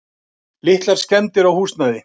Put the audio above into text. Litlar skemmdir á húsnæði.